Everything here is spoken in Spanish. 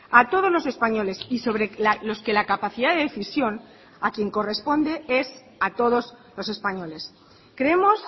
a todos los españoles y sobre los que la capacidad de decisión a quien corresponde es a todos los españoles creemos